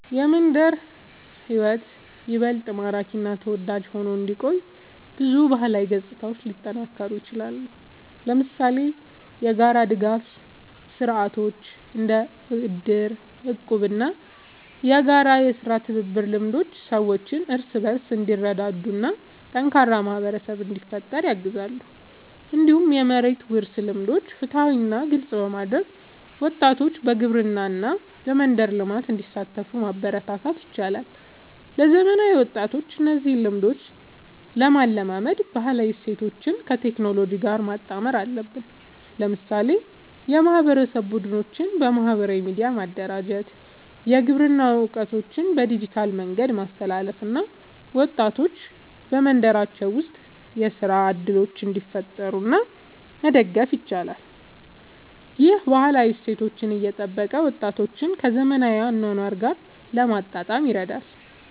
የመንደር ሕይወት ይበልጥ ማራኪ እና ተወዳጅ ሆኖ እንዲቆይ ብዙ ባህላዊ ገጽታዎች ሊጠናከሩ ይችላሉ። ለምሳሌ የጋራ ድጋፍ ስርዓቶች እንደ እድር፣ እቁብ እና የጋራ የሥራ ትብብር ልምዶች ሰዎች እርስ በርስ እንዲረዳዱ እና ጠንካራ ማህበረሰብ እንዲፈጠር ያግዛሉ። እንዲሁም የመሬት ውርስ ልምዶችን ፍትሃዊ እና ግልጽ በማድረግ ወጣቶች በግብርና እና በመንደር ልማት እንዲሳተፉ ማበረታታት ይቻላል። ለዘመናዊ ወጣቶች እነዚህን ልምዶች ለማላመድ ባህላዊ እሴቶችን ከቴክኖሎጂ ጋር ማጣመር አለብን። ለምሳሌ የማህበረሰብ ቡድኖችን በማህበራዊ ሚዲያ ማደራጀት፣ የግብርና እውቀትን በዲጂታል መንገድ ማስተላለፍ እና ወጣቶች በመንደራቸው ውስጥ የሥራ እድሎችን እንዲፈጥሩ መደገፍ ይቻላል። ይህ ባህላዊ እሴቶችን እየጠበቀ ወጣቶችን ከዘመናዊ አኗኗር ጋር ለማጣጣም ይረዳል።